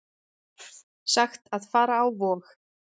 Sagt að fara á Vog